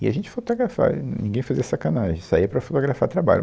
E a gente fotografava, e ninguém fazia sacanagem, saía para fotografar trabalho.